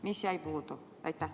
Mis jäi puudu?